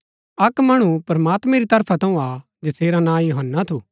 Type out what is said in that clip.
अक्क मणु प्रमात्मैं री तरफा थऊँ आ जैसेरा ना यूहन्‍ना थू